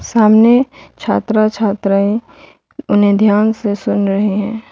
सामने छात्रा छात्राएं उन्हें ध्यान से सुन रहे हैं।